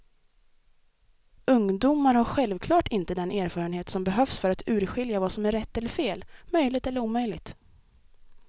Ungdomar har självklart inte den erfarenhet som behövs för att urskilja vad som är rätt eller fel, möjligt eller omöjligt.